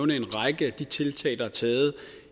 en række af de tiltag der er taget